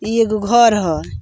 इ एगो घर ह।